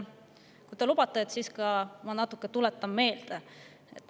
Kui te lubate, siis ma tuletan seda natuke meelde.